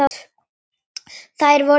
Þær voru tvær.